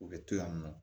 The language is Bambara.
U bɛ to yan nɔ